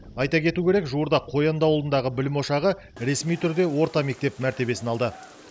айта кету керек жуырда қоянды ауылындағы білім ошағы ресми түрде орта мектеп мәртиебесін алды